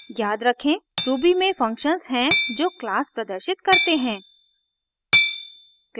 याद रखें ruby में फंक्शन्स हैं जो क्लास प्रदर्शित करते हैं